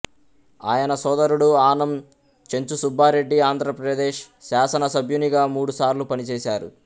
ఆయన సోదరుడు ఆనం చెంచుసుబ్బారెడ్డి ఆంధ్రప్రదేశ్ శాసనసభ్యునిగా మూడుసార్లు పనిచేసారు